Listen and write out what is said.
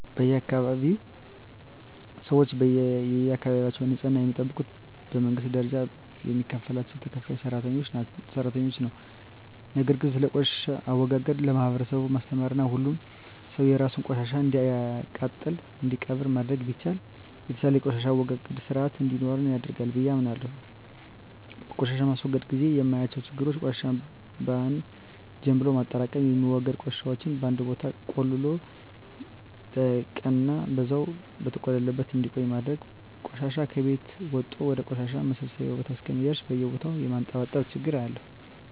በአካባቢየ ሰወች የአካባቢያቸውን ንጽህና የሚጠብቁት በመንግስት ደረጃ የሚከፈላቸው ተከፋይ ሰራተኞች ነው። ነገር ግን ስለቆሻሻ አወጋገድ ለማህበረሰቡ ማስተማርና ሁሉም ሰው የራሱን ቆሻሻ እንዲያቃጥልና እንዲቀብር ማድረግ ቢቻል የተሻለ የቆሻሻ አወጋገድ ስርአት እንዲኖረን ያደርጋል ብየ አምናለሁ። በቆሻሻ ማስወገድ ግዜ የማያቸው ችግሮች ቆሻሻን በአን ጀምሎ ማጠራቅም፣ የሚወገዱ ቆሻሻወችን በአንድ ቦታ ቆልሎ ለቀናን በዛው በተቆለለበት እንዲቆይ ማድረግና ቆሻሻ ከቤት ወጦ ወደ ቆሻሻ ማሰባሰቢያ ቦታ እስከሚደርስ በየቦታው የማንጠባጠብ ችግር አያለሁ።